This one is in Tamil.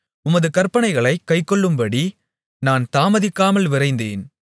உமது கற்பனைகளைக் கைக்கொள்ளும்படி நான் தாமதிக்காமல் விரைந்தேன்